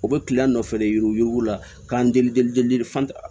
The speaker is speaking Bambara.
U bɛ nɔfɛ de yuruku yuruku la k'an deli